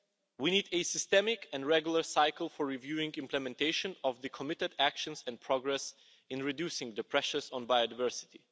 We need a systemic and regular cycle for reviewing implementation of the committed actions and progress in reducing the pressures on biodiversity.